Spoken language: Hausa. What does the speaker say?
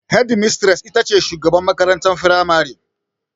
Hedimistres ita ce shugabar makarantar firamare.